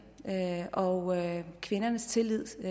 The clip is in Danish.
og at kvindernes tillid